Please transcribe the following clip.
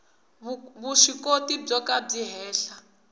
vuswikoti byo ka byi henhla